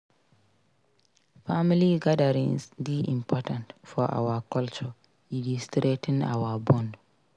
Family gatherings dey important for our culture e dey strengthen our bond.